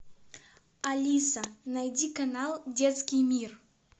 алиса найди канал детский мир